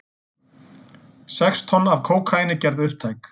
Sex tonn af kókaíni gerð upptæk